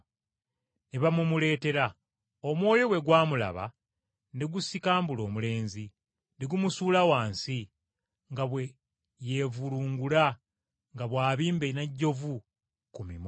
Ne bamumuleetera. Omwoyo bwe gwamulaba ne gusikambula omulenzi, ne gumusuula wansi, nga bwe yeevulungula nga bw’abimba n’ejjovu ku mimwa.